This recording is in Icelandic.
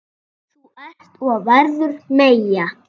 Þú ert og verður Meyja.